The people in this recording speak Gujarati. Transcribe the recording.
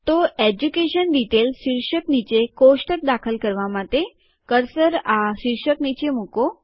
તેથી એજ્યુકેશન ડીટેઈલ્સ શીર્ષક નીચે કોષ્ટક દાખલ કરવા માટે કર્સર આ શીર્ષક નીચે મૂકો